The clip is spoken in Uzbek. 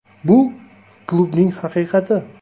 Bu klubning haqiqati.